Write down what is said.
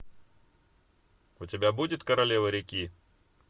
у тебя будет королева реки